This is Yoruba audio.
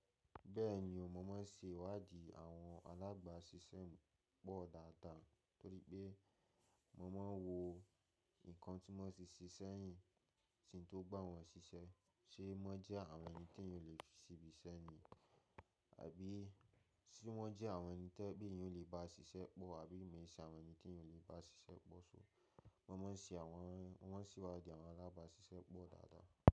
Bẹ́ẹ̀ni o, mo máa ń ṣe ìwádìí àwọn alábáṣiṣẹ́ pọ̀ dáadáa torí pé mo máa ń wo nǹkan tí wọ́n ti ṣe sẹ́yìn, tí ń tó gbá wọn ṣiṣẹ́, ṣe wọ́n jẹ́ àwọn ẹni tí eeyan ò lè fi síbi iṣẹ́ ni? Àbí si wọ́n jẹ́ àwọn ẹni to je pe awon eeyan yóò lè bá ṣiṣẹ́ pọ̀, àbí ìmi ṣe àwọn ẹni tí eeyan ò lè bá ṣiṣẹ́ pọ̀. So mo má a ń ṣe àwọn, mo ma ń ṣe ìwádìí àwọn alábáṣiṣẹ́ pọ̀ dáadáa.